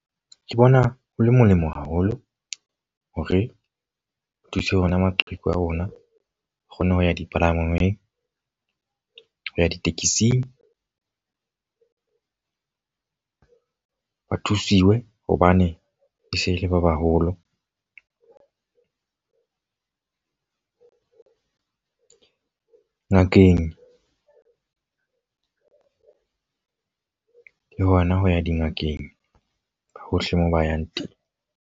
Ke bona ho le molemo haholo hore o thuse ona maqheku a rona. O kgone ho ya dipalangwang, ho ya ditekesing ba thusuwe hobane e se e le ba baholo ngakeng o le hona ho ya dingakeng hohle moo ba yang teng.